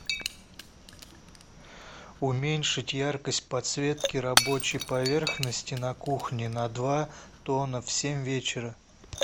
уменьшить яркость подсветки рабочей поверхности на кухне на два тона в семь вечера